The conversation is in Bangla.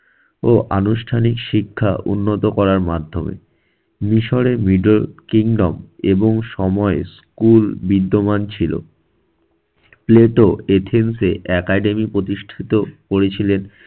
ও আনুষ্ঠানিক শিক্ষা উন্নত করার মাধ্যমে। মিশরের middle kingdom এবং সময় school বিদ্যমান ছিল। প্লেটো এথিনসে academy প্রতিষ্ঠিত করেছিলেন।